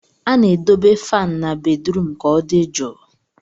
A na-edobe fan na bedrum ka ọ dị jụụ